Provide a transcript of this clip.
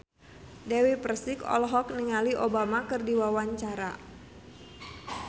Dewi Persik olohok ningali Obama keur diwawancara